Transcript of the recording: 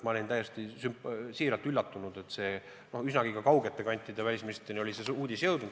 Ma olin täiesti siiralt üllatunud, et üsnagi kaugete kantide välisministriteni oli see uudis jõudnud.